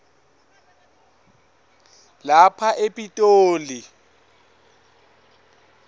lapha e pitoli